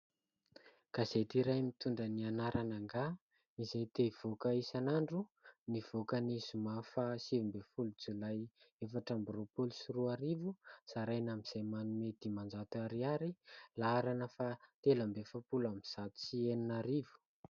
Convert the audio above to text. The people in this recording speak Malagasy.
Gazety iray mitondra ny anarana "Ngah !?" izay te hivoaka isanandro. Nivoaka ny zoma fahasivy ambin'ny folo jolay efatra amby roapolo sy roa arivo ; zaraina amin'izay manome dimanjato ariary ; laharana fahatelo amby efapolo amby zato sy enina arivo.